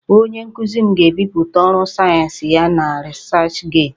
Onye nkuzi m ga-ebipụta ọrụ sayensị ya na 'researchgate'